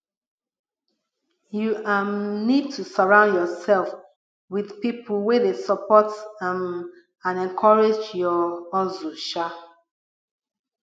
you um need to surround yourself with people wey dey support um and encourage your hustle um